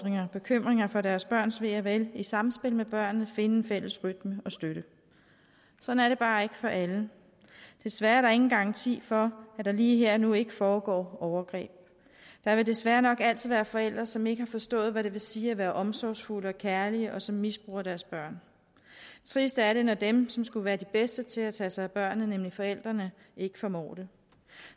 og bekymringer for deres børns ve og vel i samspil med børnene finde en fælles rytme og støtte sådan er det bare ikke for alle desværre er der ingen garanti for at der lige her og nu ikke foregår overgreb der vil desværre nok altid være forældre som ikke har forstået hvad det vil sige at være omsorgsfulde og kærlige og som misbruger deres børn trist er det når dem som skulle være de bedste til at tage sig af børnene nemlig forældrene ikke formår det